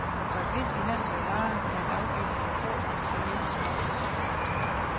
For almindelig handel med varer er en afgift på få promille småpenge.